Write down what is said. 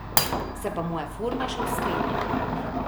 Se pa moja forma še vzpenja.